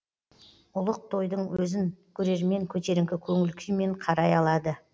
ұлық тойдың өзін көрермен көтеріңкі көңіл күймен қарай алады